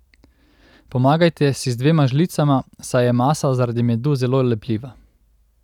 Pomagajte si z dvema žlicama, saj je masa zaradi medu zelo lepljiva.